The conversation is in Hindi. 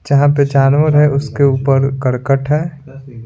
जहां पे जानवर है उसके ऊपर करकट है।